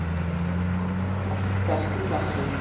Hann heyrist því hjá flestum prestum í messum.